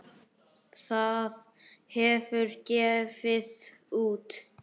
Það hefur gefið út